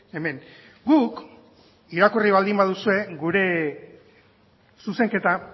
hemen guk irakurri baldin baduzue gure zuzenketa